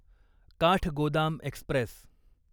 Kathgodam Express